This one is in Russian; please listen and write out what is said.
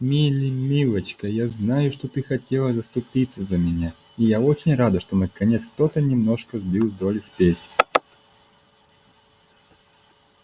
мелли милочка я знаю что ты хотела заступиться за меня и я очень рада что наконец кто то немножко сбил с долли спесь